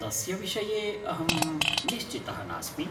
तस्य विषये अहं निश्चितः नास्मि।